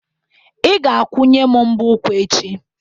Ị ga-akwunye m mbọ ụkwụ echi